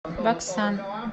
баксан